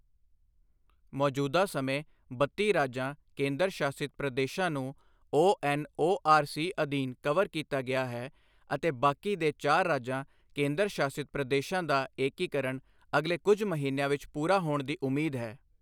ਮੌਜੂਦਾ ਸਮੇਂ ਬੱਤੀ ਰਾਜਾਂ ਕੇਂਦਰ ਸ਼ਾਸਿਤ ਪ੍ਰਦੇਸ਼ਾਂ ਨੂੰ ਓਐਨਓਆਰਸੀ ਅਧੀਨ ਕਵਰ ਕੀਤਾ ਗਿਆ ਹੈ ਅਤੇ ਬਾਕੀ ਦੇ ਚਾਰ ਰਾਜਾਂ ਕੇਂਦਰ ਸ਼ਾਸਿਤ ਪ੍ਰਦੇਸ਼ਾਂ ਦਾ ਏਕੀਕਰਣ ਅਗਲੇ ਕੁਝ ਮਹੀਨਿਆਂ ਵਿਚ ਪੂਰਾ ਹੋਣ ਦੀ ਉਮੀਦ ਹੈ